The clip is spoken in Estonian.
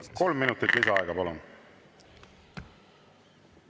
Kolm minutit lisaaega, palun!